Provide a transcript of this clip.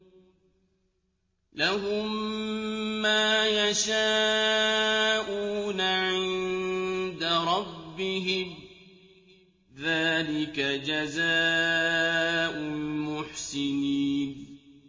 لَهُم مَّا يَشَاءُونَ عِندَ رَبِّهِمْ ۚ ذَٰلِكَ جَزَاءُ الْمُحْسِنِينَ